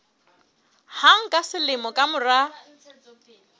hang ka selemo ka mora